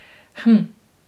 Hm ...